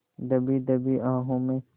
दबी दबी आहों में